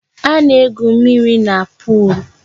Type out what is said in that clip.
A na-egwu mmírí na pol